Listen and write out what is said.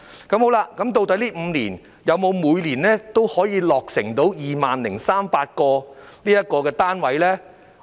究竟這5年來，是否每年都可以落成 20,300 個單位？